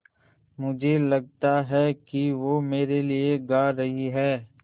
मुझे लगता है कि वो मेरे लिये गा रहीं हैँ